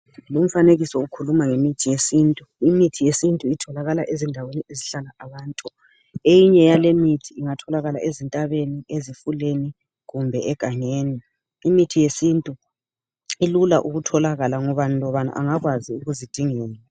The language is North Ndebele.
Lumfanekiso ukhuluma ngemithi yesintu. Imithi yesintu itholakala ezindaweni ezihlalwa ngabantu. Eyinye yalemithi ingatholakala ezintabeni, ezifuleni, kumbe egangeni. Imithi yesintu ilula ukutholakala. Ngubani lobani angakwazi ukuzidingela.